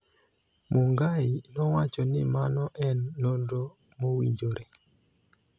Mungai nowacho ni mano en nonro mowinjore.